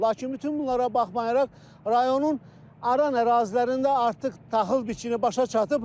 Lakin bütün bunlara baxmayaraq, rayonun Aran ərazilərində artıq taxıl biçini başa çatıb.